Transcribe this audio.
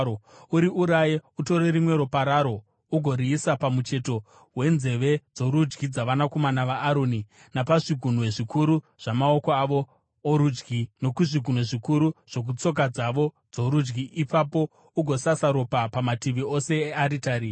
Uriuraye, utore rimwe ropa raro ugoriisa pamucheto wenzeve dzorudyi dzavanakomana vaAroni, napazvigunwe zvikuru zvamaoko avo orudyi, nokuzvigunwe zvikuru zvokutsoka dzavo dzorudyi. Ipapo ugosasa ropa pamativi ose earitari.